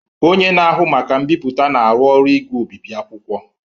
Onye na-ahụ maka mbipụta na-arụ ọrụ igwe obibi akwụkwọ.